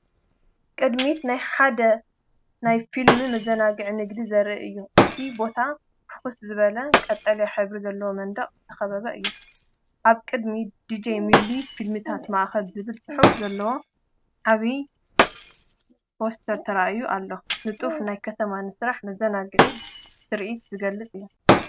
ቅድሚት ናይ ሓደ ናይ ፊልምን መዘናግዕን ንግዲ ዘርኢ እዩ። እቲ ቦታ ብፍኹስ ዝበለ ቀጠልያ ሕብሪ ዘለዎ መንደቕ ዝተኸበበ እዩ። ኣብ ቅድሚት"ዲጄ ሚሊ ፊልምታት ማእከ"ዝብል ጽሑፍ ዘለዎ ዓቢ ፖስተር ተራእዩ ኣሎ። ንጡፍ ናይ ከተማ ስራሕን መዘናግዕን ትርኢት ዝገልጽ እዩ።